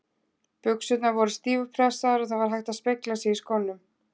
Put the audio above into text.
Buxurnar voru stífpressaðar og það var hægt að spegla sig í skónum.